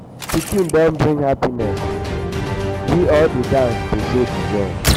pikin don bring happiness we all dey dance to show di joy.